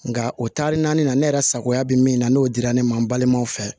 Nka o taari naani na ne yɛrɛ sagoya bɛ min na n'o dira ne ma n balimaw fɛ